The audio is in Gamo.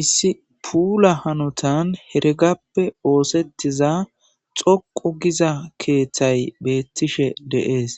issi puula hanotan hergappe oosettiza xoqo giza keeththay beettishe de'ees